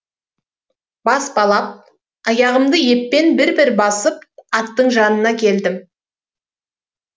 баспалап аяғымды еппен бір бір басып аттың жанына келдім